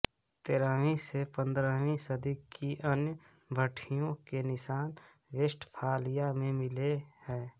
तेरहवीं से पंद्रहवीं सदी की अन्य भट्टियों के निशान वेस्टफालिया में मिले हैं